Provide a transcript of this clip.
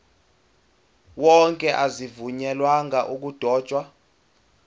wonke azivunyelwanga ukudotshwa